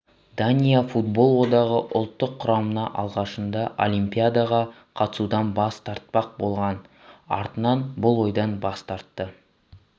дания футбол одағы ұлттық құраманы алғашында олимпиадаға қатысудан бас тартпақ болған артынан бұл ойдан бас тартты